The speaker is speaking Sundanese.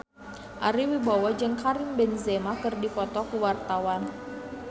Ari Wibowo jeung Karim Benzema keur dipoto ku wartawan